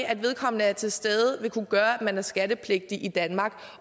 at vedkommende er til stede kunne gøre at man er skattepligtig i danmark